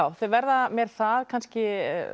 þau verða mér það kannski